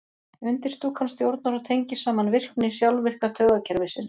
undirstúkan stjórnar og tengir saman virkni sjálfvirka taugakerfisins